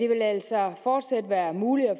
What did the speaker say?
vil altså fortsat være muligt at